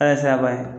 A ye siraba ye